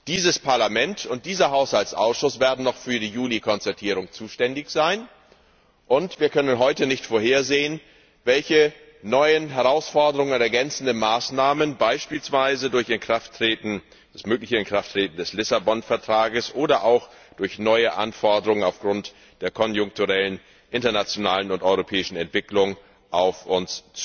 Dieses Parlament und dieser Haushaltsausschuss werden noch für die Juli Konzertierung zuständig sein, und wir können heute nicht vorhersehen, welche neuen Herausforderungen und ergänzenden Maßnahmen es beispielsweise durch das mögliche Inkrafttreten des Lissabon Vertrages oder auch durch neue Anforderungen, die aufgrund der konjunkturellen internationalen und europäischen Entwicklungen auf uns